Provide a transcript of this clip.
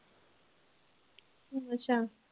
ਅੱਛਾ।